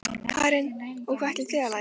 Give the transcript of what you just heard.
Karen: Og hvað ætlið þið að læra?